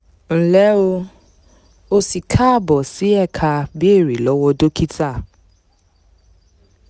nle o o si kaabo si eka "beere lowo dokita"